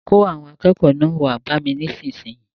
Kó àwọn akẹ́kọ̀ọ́ náà wá bá mi nísinsìnyí!